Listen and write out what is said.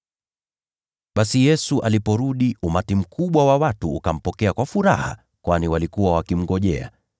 Basi Yesu aliporudi, umati mkubwa wa watu ukampokea kwa furaha, kwani walikuwa wakimngojea.